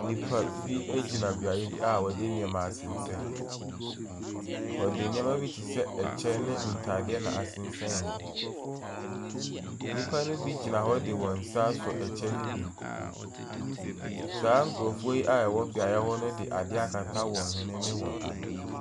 Nnipa bi gyina beaeɛ bi a wɔde nneɛma asensɛn. Wɔde nneɛma bi te sɛ ɛkyɛ ne ntadeɛ na asesɛn hɔ. Nnipa no bi gyina hɔ de wɔn nsa asɔ ɛkyɛ no bi mu. Saa nkurɔfoɔ yi wɔwɔ beaeɛ hɔ no de adeɛ akata wɔn hwene ne wɔn ano.